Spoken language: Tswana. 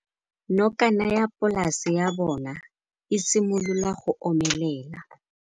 Nokana ya polase ya bona, e simolola go omelela.